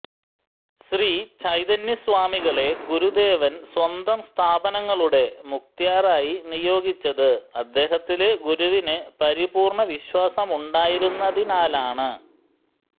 ശ്രീചൈതന്യസ്വാമികളെ ഗുരുദേവന് സ്വന്തം സ്ഥാപനങ്ങളുടെ മുക്ത്യാറായി നിയോഗിച്ചത് അദ്ദേഹത്തില് ഗുരുവിന് പരിപൂര്ണവിശ്വാസമുണ്ടായിരുന്നതിനാലാണ്